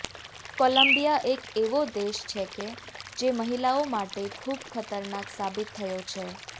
Colombia એક એવો દેશ છે કે જે મહિલાઓ માટે ખુબ ખતરનાક સાબિત થયો છે